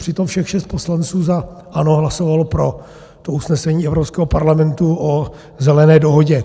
Přitom všech šest poslanců za ANO hlasovalo pro to usnesení Evropského parlamentu o Zelené dohodě.